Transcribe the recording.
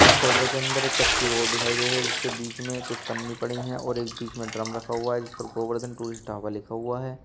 इस फोटो के अंदर एक कच्ची रोड दिखाई गई है जिसके बीच में कुछ पन्नी पड़ी हैं और एक बीच में ड्रम रखा हुआ है जिस पर गोवर्धन टूरिस्ट ढाबा लिखा हुआ है।